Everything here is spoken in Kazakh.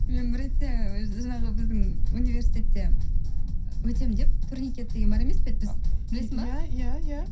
мен бір ретте жаңағы біздің университетте өтемін деп турникет деген бар емес пе еді біз білесің бе иә иә иә